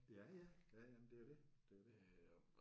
Ja ja. Ja ja men det er jo det. Det er jo det